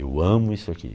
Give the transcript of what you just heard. Eu amo isso aqui.